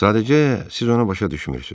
Sadəcə, siz onu başa düşmürsünüz.